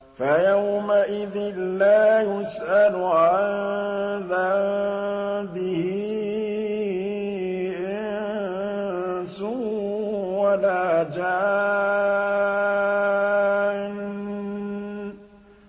فَيَوْمَئِذٍ لَّا يُسْأَلُ عَن ذَنبِهِ إِنسٌ وَلَا جَانٌّ